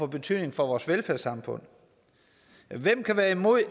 betydning for vores velfærdssamfund hvem kan være imod